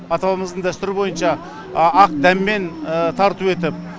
ата бабамыздың дәстүрі бойынша ақ дәммен тарту етіп